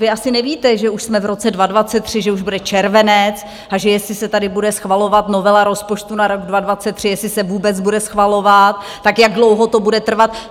Vy asi nevíte, že už jsme v roce 2023, že už bude červenec, a že jestli se tady bude schvalovat novela rozpočtu na rok 2023 - jestli se vůbec bude schvalovat - tak jak dlouho to bude trvat.